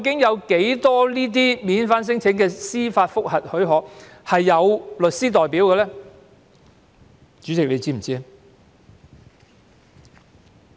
有多少免遣返聲請司法覆核許可的申請人有律師代表呢？